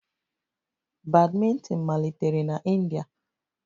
Badminton malitere na India